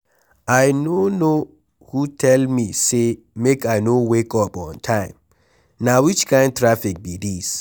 I no know who tell me say make I no wake up on time. Na which kin traffic be dis?